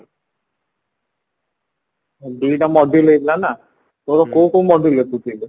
ଦିଟା module ହେଇଥିଲା ନାଁ ତୋର କୋଉ କୋଉ module ଲେଖୁଥିଲୁ